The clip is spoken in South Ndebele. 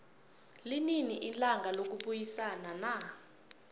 linini ilanga lokubayisana na